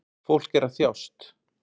Fólk er að þjást